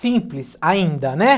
Simples ainda, né?